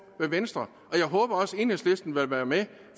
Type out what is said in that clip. i venstre og jeg håber også at enhedslisten vil være med